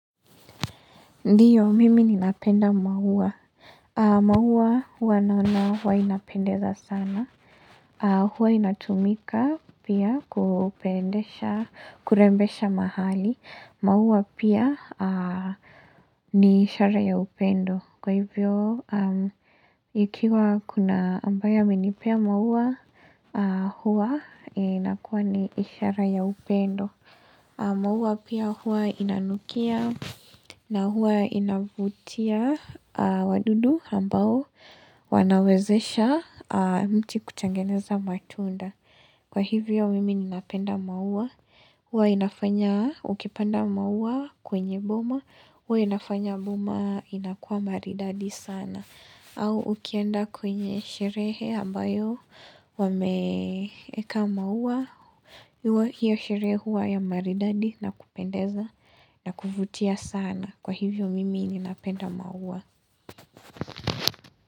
Ndiyo, mimi ninapenda maua. Maua huwa naona huwa inapendeza sana. Hua inatumika pia kupendesha, kurembesha mahali. Maua pia ni ishara ya upendo. Kwa hivyo, aah ikiwa kuna ambaye amenipea maua, huwa inakuwa ni ishara ya upendo. Maua pia hua inanukia na hua inavutia wadudu ambao wanawezesha mti kutengeneza matunda. Kwa hivyo mimi ninapenda maua, huwa inafanya ukipanda maua kwenye boma huwa inafanya boma inakuwa maridadi sana. Au ukienda kwenye sherehe ambayo wameeka maua, hiyo sherehe hua ya maridadi na kupendeza na kuvutia sana. Kwa hivyo mimi ninapenda maua.